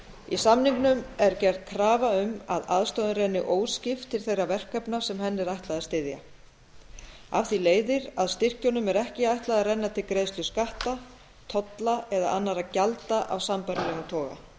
í samningnum er gerð krafa um að aðstoðin renni óskipt til þeirra verkefna sem henni er ætlað að styðja af því leiðir að styrkjunum er ekki ætlað að renna til greiðslu skatta tolla eða annarra gjalda af sambærilegum toga